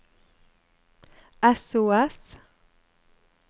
sos